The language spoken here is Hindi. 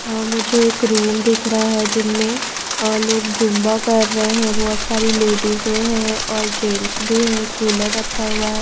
अ मुझे एक रूम दिख रहा है जिनमें अ लोग जुंबा कर रहे हैं बहुत सारी लेडीज हैं और जेंट्स भी है कूलर रखा हुआ है।